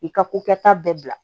I ka ko kɛta bɛɛ bila